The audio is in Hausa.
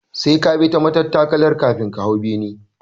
Sai ka bi ta matattakalar kafin ka hau bene